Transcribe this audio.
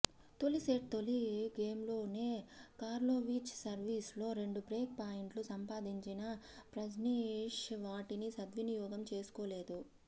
తొలి సెట్ తొలి గేమ్లోనే కార్లోవిచ్ సర్వీస్లో రెండు బ్రేక్ పాయింట్లు సంపాదించిన ప్రజ్నేశ్ వాటిని సద్వినియోగం చేసుకోలేదు